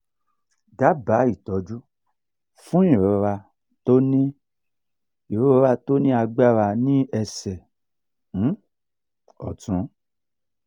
daba itoju fun irora to ni irora to ni agbara ni ese um otun